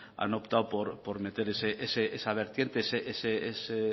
han optado por meter esa vertiente ese